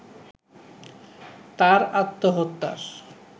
তার আত্মহত্যার